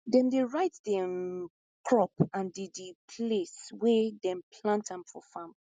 dem dey write di um crop and di di place wey dem plant am for farm